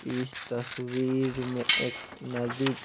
इस तस्वीर में एक नदी--